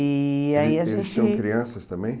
E aí a gente... Eles tinham crianças também?